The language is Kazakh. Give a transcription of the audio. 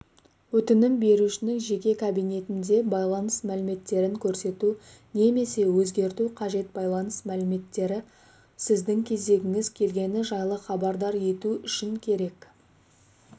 өтінім берушінің жеке кабинетінде байланыс мәліметтерін көрсету немесе өзгерту қажет байланыс мәліметтері сіздің кезегіңіз келгені жайлы хабардар ету үшін керек